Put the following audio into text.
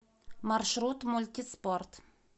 маршрут мультиспорт